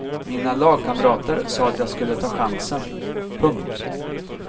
Mina lagkamrater sa att jag skulle ta chansen. punkt